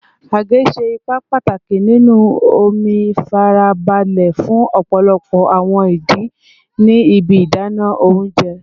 Age ṣe ipa pataki ninu omi farabale fun ọpọlọpọ awọn idi ni ibi idana ounjẹ